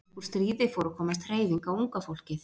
En upp úr stríði fór að komast hreyfing á unga fólkið.